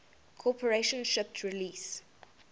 corporation shipped release